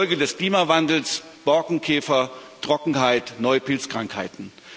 Folge des Klimawandels Borkenkäfer, Trockenheit, neue Pilzkrankheiten.